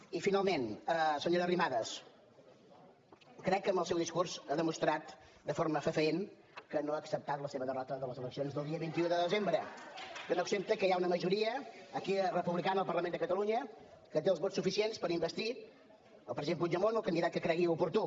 i finalment senyora arrimadas crec que amb el seu discurs ha demostrat de forma fefaent que no ha acceptat la seva derrota de les eleccions del dia vint un de desembre que no accepta que hi ha una majoria aquí republicana al parlament de catalunya que té els vots suficients per investir el president puigdemont o el candidat que cregui oportú